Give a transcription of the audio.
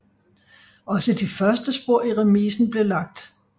Også de første spor i remisen blev lagt